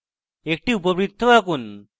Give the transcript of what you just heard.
একটি উপবৃত্ত আঁকুন